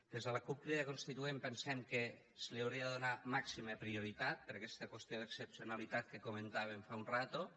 des de la cup crida constituent pensem que se li hauria de donar màxima prioritat per aquesta qüestió d’excepcionalitat que comentàvem fa una estona